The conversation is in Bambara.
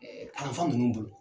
kalanfa ninnu dun?